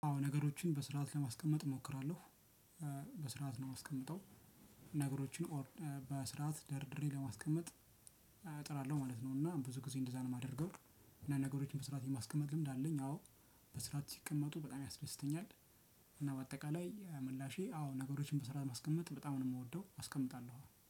አዎ ነገሮችን በስርዓት ለማስቀመጥ እሞክራለሁ። በስርዓት ነው የማስቀምጠው። ነገሮችን በስርዓት ደርድሬ ለማስቀመጥ እጠራለሁ ማለት ነው። እና ብዙ ጊዜ እንደዛ ነው የማደርገው። ነገሮችን በስርዓት የማስቀመጥ ልምድ አለኝ። አዎ በስርዓት ሲቀመጡ በጣም ያስደስተኛል። እና በአጠቃላይ ምላሼ አዎ ነገሮችን በስርዓት ማስቀመጥ በጣም ነው የምወደው አስቀምጣለሁ